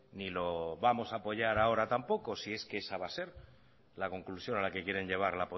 ni lo vamos a apoyar ahora tampoco si es que esa va a ser la conclusión a la que quieren llevar